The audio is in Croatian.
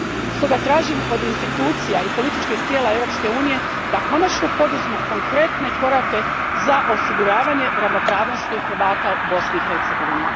Stoga tražim od institucija i političkih tijela Europske unije da konačno poduzmu konkretne korake za osiguravanje ravnopravnosti Hrvata u Bosni i Hercegovini.